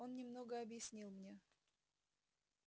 он немного объяснил мне